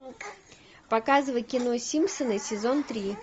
показывай кино симпсоны сезон три